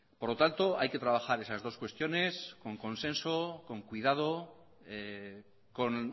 por lo tanto hay que trabajar esas dos cuestiones con consenso con cuidado con